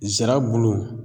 Zira bulu